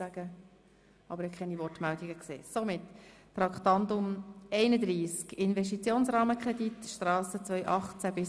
Somit kommen wir zu den Abstimmungen betreffend das Traktandum 31, «Investitionsrahmenkredit Strasse 2018–2021».